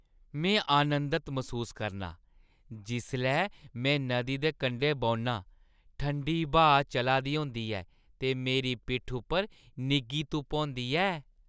में आनंदत मसूस करनां जिसलै में नदी दे कंढै बौह्‌न्नां, ठंडी ब्हा चला दी होंदी ऐ ते मेरी पिट्ठी उप्पर निग्घी धुप्प होंदी ऐ ।